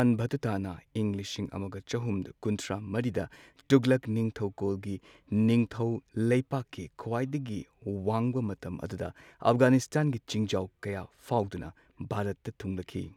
ꯏꯕꯥꯟ ꯚꯥꯇꯨꯇꯥꯅ ꯏꯪ ꯂꯤꯁꯤꯡ ꯑꯃꯒ ꯆꯍꯨꯝ ꯀꯨꯟꯊ꯭ꯔꯥ ꯃꯔꯤꯗ ꯇꯨꯘꯂꯛ ꯅꯤꯡꯊꯧꯀꯣꯜꯒꯤ ꯅꯤꯡꯊꯧ ꯂꯩꯕꯥꯛꯀꯤ ꯈ꯭ꯋꯥꯏꯗꯒꯤ ꯋꯥꯡꯕ ꯃꯇꯝ ꯑꯗꯨꯗ ꯑꯐꯘꯥꯅꯤꯁꯇꯥꯟꯒꯤ ꯆꯤꯡꯖꯥꯎ ꯀꯌꯥ ꯐꯥꯎꯔꯗꯨꯅ ꯚꯥꯔꯠꯇ ꯊꯨꯡꯂꯛꯈꯤ꯫